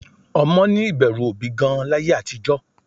Ọmọ ní ìbẹ̀rù òbí gan-an láyé àtijọ́